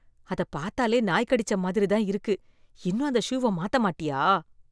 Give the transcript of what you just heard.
அத பாத்தாலே நாய் கடிச்ச மாதிரி தான் இருக்குது இன்னும் அந்த ஷூவ மாத்த மாட்டியா?